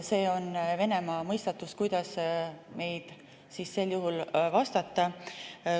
See on Venemaa, kuidas sel juhul vastata.